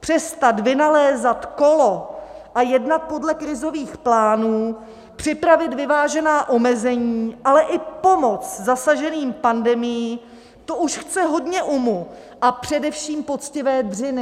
přestat vynalézat kolo a jednat podle krizových plánů, připravit vyvážená omezení, ale i pomoc zasaženým pandemií, to už chce hodně umu a především poctivé dřiny.